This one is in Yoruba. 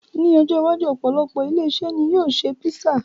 Ní ọjọ́ iwájú, opolopo ilé-iṣẹ́ ni yóò ṣe písà